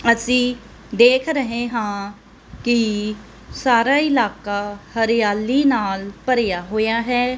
ਅਸੀ ਦੇਖ ਰਹੇ ਹਾਂ ਕੀ ਸਾਰਾ ਇਲਾਕਾ ਹਰਿਆਲੀ ਨਾਲ ਭਰਿਆ ਹੋਇਆ ਹੈ।